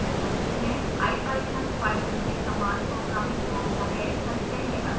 ipython python के समान programming भाषा है सत्य या असत्य